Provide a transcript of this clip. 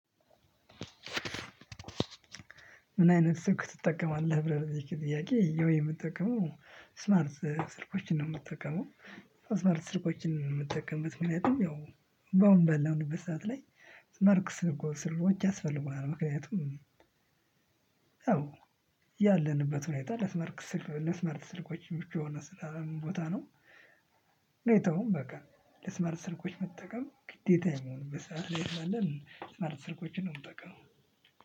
ምን አይነት ስልክ ትጠቀማለህ? ብለህ ለጠየከኝ ጥያቄ ያው የምትጠቀመው ስማርት ስልኮችን ነው የምትጠቀመው ስማርት ስልኮችን ነው የምትጠቀምበት። ምክንያትም ያው በአሁን ባለንበት ሰዓት ላይ ስማርት ስልኮች ያስፈልጉናል ምክንያቱም ያው ያለንበት ሁኔታ ለስማርት ስልክ ለስማርት ስልኮች ምቹ ስላልሆነ ቦታ ነው። ሁኔታውም በቃ ለስመርት ስልኮች መጠቀም ግዴታ የሚሆንበት ሰዓት ላይ ስላለኝ ስመርት ስልኮችን ነው። የምጠቀመው